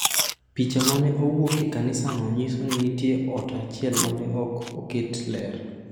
Picha ma ne owuok e kanisano nyiso ni nitie ot achiel ma ne ok oket ler.